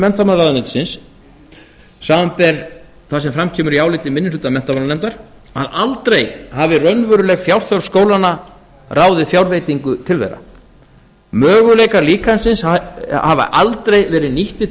menntamálaráðuneytisins samanber það sem fram kemur í áliti minni hluta menntamálanefndar að aldrei hafi raunveruleg fjárþörf skólanna ráðið fjárveitingum til þeirra möguleikar líkansins hafi aldrei verið nýttir til